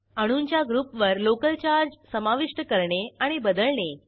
अणूंच्या ग्रुपवर local charge समाविष्ट करणे आणि बदलणे